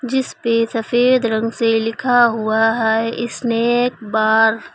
जिस पे सफेद रंग से लिखा हुआ है स्नैक बार ।